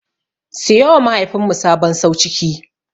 Siyowa mahaifinmu sabon sauciki.